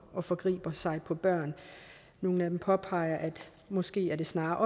og forgriber sig på børn nogle af dem påpeger at det måske snarere